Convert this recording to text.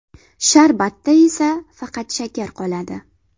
Sharbatda esa faqat shakar qoladi.